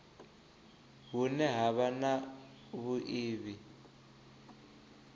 hune ha vha na vhuiivhi